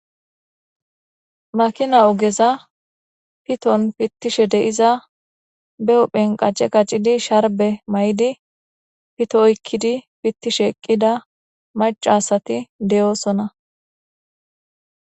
Makina ogeza piton pittishe deiza be huphen qace qaccidi sharbe may7di pito oykkidi pittishe eqqida macasati deyoosona.